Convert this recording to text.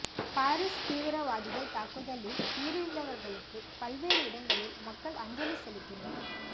Paris தீவிரவாதிகள் தாக்குதலில் உயிரிழந்தவர்களுக்கு பல்வேறு இடங்களில் மக்கள் அஞ்சலி செலுத்தினர்